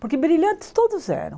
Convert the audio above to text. Porque brilhantes todos eram.